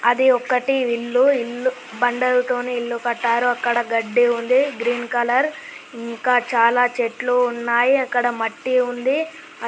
అది ఒకటి ఇల్లు ఇల్లు బండలతోని ఇల్లు కట్టారు అక్కడ గడ్డి ఉంది గ్రీన్ కలర్ ఇంకా చాలా చెట్లు ఉన్నాయ్ అక్కడ మట్టి ఉంది.